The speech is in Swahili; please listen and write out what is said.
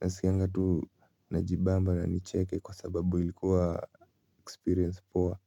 nasikianga tu najibamba na nicheke kwa sababu ilikuwa experience poa.